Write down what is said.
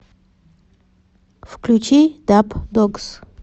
включи дабдогс